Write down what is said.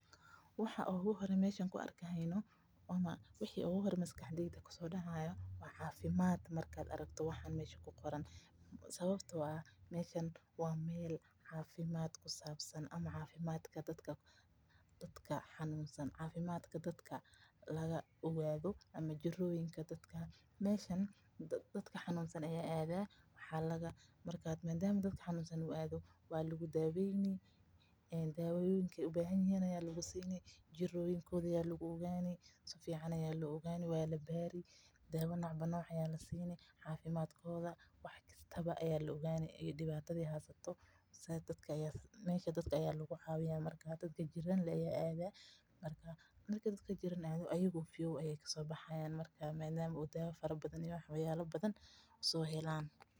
Waxa oogu hore maskaxdeyda kusoo dacaaya waa cafimaad , sababta oo ah waa meel cafimaadka dadka lagu ogaado, dadka xanunsan ayaa adaa dawoyin ayaa lasiini, jiroyinka ayaa lagu ogaani waa la baari wax kasta ayaa la ogaani dadka ayaa lagu cawiya marka ayago cafimaad qaba ayeey soo baxayaan madama dawoyin fara badan aay heleen.